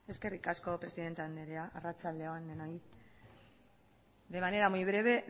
eskerrik asko presidente andrea arratsaldeon denoi de manera muy breve